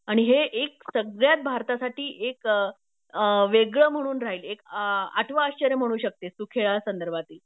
आणि हे एक सगळ्यात भारतासाठी एक अ वेगळं म्हणून राहील एक आठव आश्चर्य म्हणू शकतीस तू खेळासंदर्भातील